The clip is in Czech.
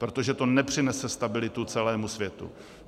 Protože to nepřinese stabilitu celému světu.